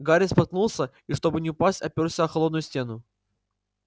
гарри споткнулся и чтобы не упасть опёрся о холодную стену